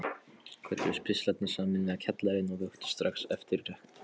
Kölluðust pistlarnir sameiginlega Kjallarinn og vöktu strax eftirtekt.